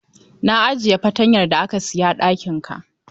Na ajiye fatanyar da ka saya a ɗakinka.